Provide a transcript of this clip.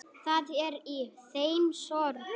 Það er í þeim sorg.